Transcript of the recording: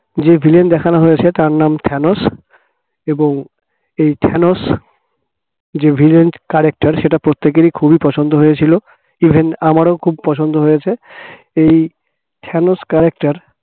যে villain দেখানো হয়েছে তার নাম থানোস এবং এই থানোস যে villain character র সেটা প্রত্যেকেরই খুবই পছন্দ হয়েছিল even আমারও খুব পছন্দ হয়েছে এই থানোস character